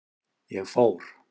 Ég fór.